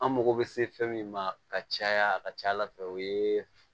An mago bɛ se fɛn min ma ka caya a ka ca ala fɛ o ye